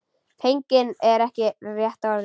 Feginn er ekki rétta orðið.